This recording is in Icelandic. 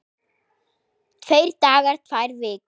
Tveir dagar, tvær vikur?